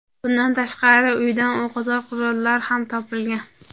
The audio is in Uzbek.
Bundan tashqari, uydan o‘qotar qurollar ham topilgan.